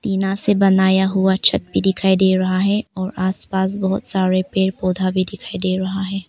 टीना से बनाया हुआ छत भी दिखाई दे रहा है और आस पास बहुत सारे पेड़ पौधा भी दिखाई दे रहा है।